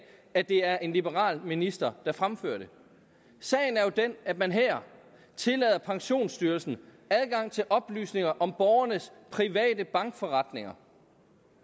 at det er en liberal minister der fremfører det sagen er jo den at man her tillader pensionsstyrelsen adgang til oplysninger om borgernes private bankforretninger